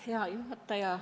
Hea juhataja!